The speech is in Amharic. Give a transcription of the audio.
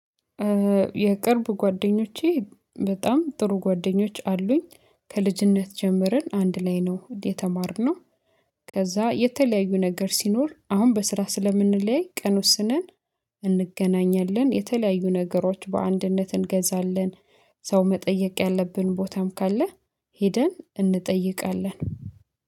የቅርብ ጓደኞቼ በጣም ጥሩ ጓደኞች አሉኝ ከልጅነት ጀምረን አንድ ላይ ነው የተማርነው። ከዛ የተለያዩ ነገር ሲኖር አሁን በስራ ስለምንለያይ ቀን ወስነን እንገናኛለን። የተለያዩ ነገሮች በአንድነት እንገዛለን። ሰው መጠየቅ ያለብን ቦታም ካለ ሄደን እንጠይቃለን።